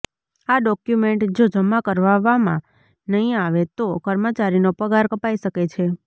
આ ડોક્યુમેન્ટ જો જમા કરાવવામાં નહીં આવે તો કર્મચારીનો પગાર કપાઇ શકે છે